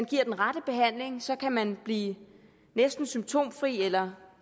den rette behandling så kan man blive næsten symptomfri eller